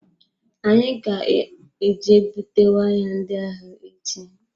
Anyị ga eje bute waya ndị ahụ echi.